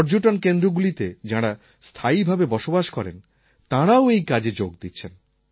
পর্যটন কেন্দ্রগুলিতে যাঁরা স্থায়ীভাবে বসবাস করেন তাঁরাও এই কাজে যোগ দিচ্ছেন